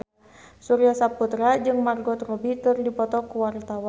Surya Saputra jeung Margot Robbie keur dipoto ku wartawan